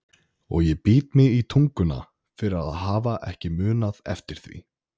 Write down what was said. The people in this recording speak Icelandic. Og ég bít mig í tunguna fyrir að hafa ekki munað eftir því.